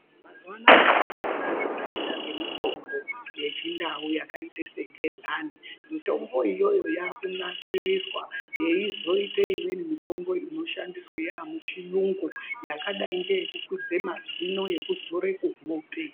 Mazuwa anaya vantu vakufunda padera pemutombo yechindau yakaita segedhlani, mitombo iyoyo yakunasiriswa yeizoite imweni mitombo inoshandiswa yamuchiyungu yakadai ngeyekukwidze mazino, yekuzore kuhope.